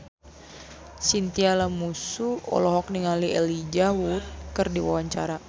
Chintya Lamusu olohok ningali Elijah Wood keur diwawancara